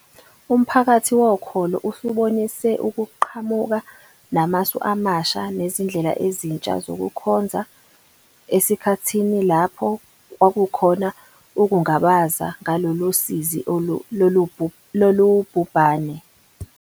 Umphakathi wokholo usubonise ukuqhamuka namasu amasha nezindlela ezintsha zokukhonza esikhathini lapho kwakukhona ukungabaza ngalolu sizi lobhubhane.